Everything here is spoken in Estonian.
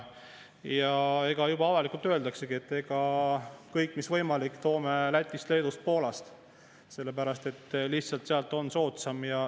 Avalikult juba öeldaksegi, et kõik, mis võimalik, toome Lätist, Leedust või Poolast, sellepärast et lihtsalt sealt on soodsam.